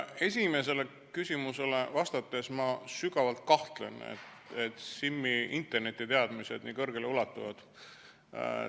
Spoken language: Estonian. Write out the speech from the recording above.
Esimesele küsimusele vastates ma sügavalt kahtlen, et Simmi internetiteadmised nii kõrgele ulatuvad.